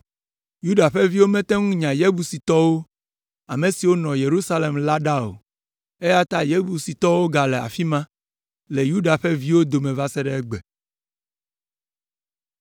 Yuda ƒe viwo mete ŋu nya Yebusitɔwo, ame siwo nɔ Yerusalem la ɖa o, eya ta Yebusitɔwo gale afi ma, le Yuda ƒe viwo dome va se ɖe egbe.